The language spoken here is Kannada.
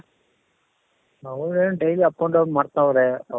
ಅವನು ಏನ್ daily up and down ಮಾಡ್ತಾವ್ರೆ